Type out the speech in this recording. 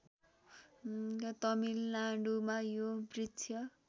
तमिलनाडुमा यो वृक्ष